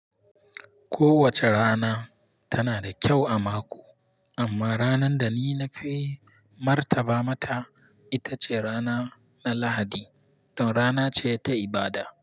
Kowace rana tana da kyau a mako, amma ranar da ni nafi martaba mata ita ce rana na Lahadi don rana ce ta ibada.